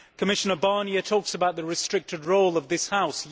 Commissioner Barnier talks about the restricted role of this House.